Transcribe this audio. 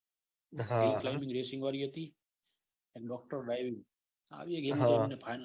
એક game racing વળી હતી. અને ડોક્ટર ડરાયવિંગ આવી એ ગેમ ફાઇનલ